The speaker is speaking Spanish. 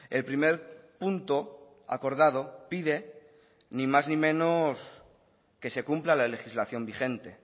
el primer punto acordado pide ni más ni menos que se cumpla la legislación vigente